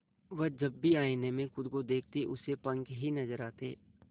वह जब भी आईने में खुद को देखती उसे पंख ही नजर आते